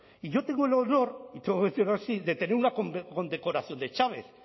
y yo tengo el honor y tengo que decirlo así de tener una condecoración de chávez